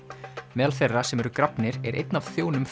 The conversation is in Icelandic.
meðal þeirra sem þar eru grafnir er einn af þjónum